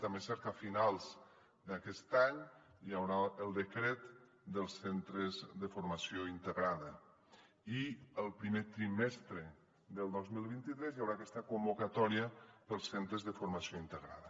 també és cert que a finals d’aquest any hi haurà el decret dels centres de formació integrada i el primer trimestre del dos mil vint tres hi haurà aquesta convocatòria dels centres de formació integrada